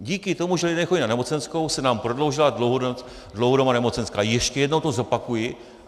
Díky tomu, že lidé nechodí na nemocenskou, se nám prodloužila dlouhodobá nemocenská, ještě jednou to zopakuji.